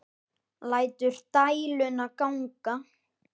Lætur dæluna ganga.